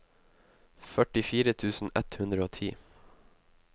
førtifire tusen ett hundre og ti